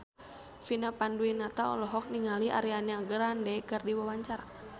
Vina Panduwinata olohok ningali Ariana Grande keur diwawancara